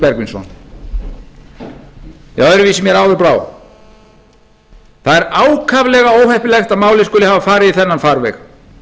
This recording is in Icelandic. lúðvík bergvinsson ja öðruvísi mér áður brá það er ákaflega óheppilegt að málið skuli hafa farið í þennan farveg